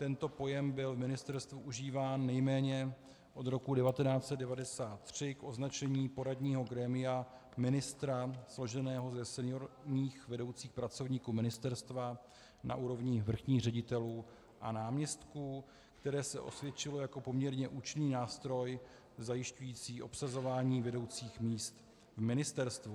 Tento pojem byl v ministerstvu užíván nejméně od roku 1993 k označení poradního grémia ministra složeného ze seniorních vedoucích pracovníků ministerstva na úrovni vrchních ředitelů a náměstků, které se osvědčilo jako poměrně účinný nástroj zajišťující obsazování vedoucích míst v ministerstvu.